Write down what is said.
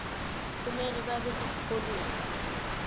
kumele babe sesikolweni